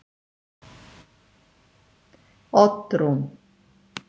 Oddrún